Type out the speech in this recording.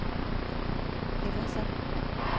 hændelser